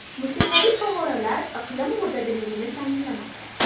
Musiqali favvoralar iqlim mo‘tadilligini ta’minlamoqda.